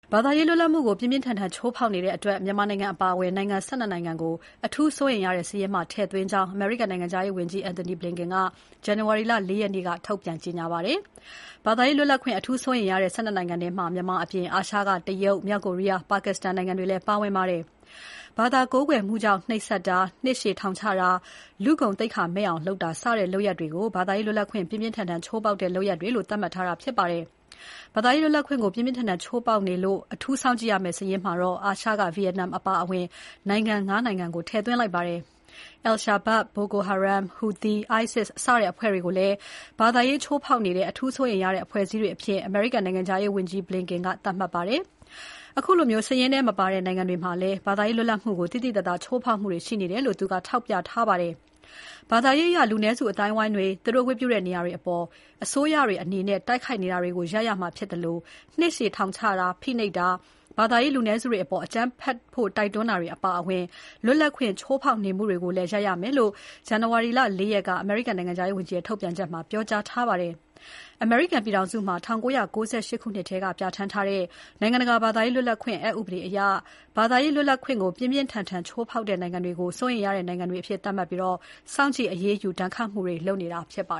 ဘာသာရေးလွတ်လပ်မှုကို ပြင်းပြင်းထန်ထန်ချိုးဖောက်နေတဲ့အတွက် မြန်မာနိုင်ငံအပါအဝင် နိုင်ငံ ၁၂ နိုင်ငံကို အထူးစိုးရိမ်ရတဲ့စာရင်းမှာ ထည့်သွင်းထားကြောင်း အမေရိကန်နိုင်ငံခြားရေးဝန်ကြီး Antony Blinken က ဇန်နဝါရီ ၄ ရက်နေ့က ထုတ်ပြန်ကြေညာပါတယ်။ ဘာသာရေးလွတ်လပ်ခွင့် အထူးစိုးရိမ်ရတဲ့ ၁၂ နိုင်ငံထဲမှာ မြန်မာအပြင် အာရှက တရုတ်၊ မြောက်ကိုရီးယား၊ ပါကစ္စတန်နိုင်ငံတွေလည်းပါဝင်ပါတယ်။ ဘာသာကိုးကွယ်မှုကြောင့် နှိပ်စက်တာ၊ နှစ်ရှည်ထောင်ချတာ၊ လူ့ဂုဏ်သိက္ခာမဲ့အောင်တာ စတဲ့ လုပ်ရပ်တွေကို သာသာရေးလွတ်လပ်ခွင့် ပြင်းပြင်းထန်ထန်ချိုးဖောက်တဲ့လုပ်ရပ်တွေလို့ သတ်မှတ်တာဖြစ်ပါတယ်။ ဘာသာရေးလွတ်လပ်ခွင့်ကို ပြင်းပြင်းထန်ထန်ချိုးဖောက်နေလို့ အထူးစောင့်ကြည့်ရမယ့်စာရင်းမှာတော့ အာရှက ဗီယက်နမ်အပါအဝင် နိုင်ငံ ၅ နိုင်ငံကို ထည့်သွင်းလိုက်ပါတယ်။ al-Shabab, Boko Haram, Houthis, ISIS စတဲ့အဖွဲ့တွေကိုလည်း ဘာသာရေးချိုးဖောက်နေတဲ့ အထူးစိုးရိမ်ရတဲ့အဖွဲ့အစည်းတွေအဖြစ် အမေရိကန်နိုင်ငံခြားရေး Blinken က သတ်မှတ်လိုက်ပါတယ်။ အခုလို စာရင်းထဲမပါတဲ့နိုင်ငံတွေမှာလည်း ဘာသာရေးလွတ်လပ်မှုကို သိသိသာသာ ချိုးဖောက်မှုရှိနေတယ်လို့ သူက ထောက်ပြထားပါတယ်။ ဘာသာရေးအရ လူနည်းစုအသိုင်းအဝိုင်းတွေ၊ သူတို့ဝတ်ပြုတဲ့နေရာတွေအပေါ် အစိုးရတွေအနေနဲ့ တိုက်ခိုက်နေတာကို ရပ်ရမှာဖြစ်သလို နှစ်ရှည်ထောင်ဒဏ်ချတာ၊ ဖိနှိပ်တာ ဘာသာရေးလူနည်းစုတွေအပေါ် အကြမ်းဖက်ဖို့ တိုက်တွန်းတာအပါအဝင် လွတ်လပ်ခွင့်ချိုးဖောက်နေမှုတွေကိုလည်း ရပ်ရမယ်လို့ ဇန်နဝါရီ ၄ ရက်နေ့က အမေရိကန်နိုင်ငံခြားရေးဝန်ကြီးရဲ့ ထုတ်ပြန်ချက်မှာ ပြောကြားထားပါတယ်။ အမေရိကန်ပြည်ထောင်စုမှာ ၁၉၉၈ ခုနှစ်ထဲက ပြဋ္ဌာန်းထားတဲ့ နိုင်ငံတကာ ဘာသာရေးလွတ်လပ်ခွင့် အက်ဥပဒေအရ ဘာသာရေး လွတ်လပ်ခွင့်ကို ပြင်းပြင်းထန်ထန် ချိုးဖေါက်တဲ့နိုင်ငံတွေကို စိုးရိမ်ရတဲ့ နိုင်ငံတွေအဖြစ် သတ်မှတ်ပြီး၊ စောင့်ကြည့် အရေးယူ ဒဏ်ခတ်မှုတွေ လုပ်နေတာဖြစ်ပါ